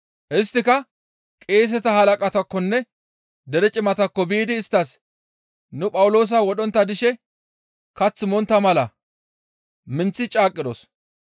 Isttika qeeseta halaqataakkonne dere cimataakko biidi isttas, «Nu Phawuloosa wodhontta dishe kath montta mala minththi caaqqidos.